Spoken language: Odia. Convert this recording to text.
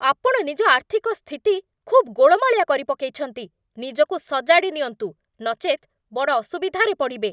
ଆପଣ ନିଜ ଆର୍ଥିକ ସ୍ଥିତି ଖୁବ୍ ଗୋଳମାଳିଆ କରି ପକେଇଛନ୍ତି! ନିଜକୁ ସଜାଡ଼ି ନିଅନ୍ତୁ, ନଚେତ୍, ବଡ଼ ଅସୁବିଧାରେ ପଡ଼ିବେ।